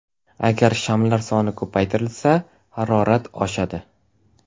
Agar shamlar soni ko‘paytirilsa, harorat oshadi.